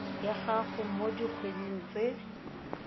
ya gago mo dikgweding tse